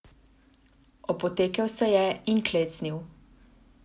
Opotekel se je in klecnil.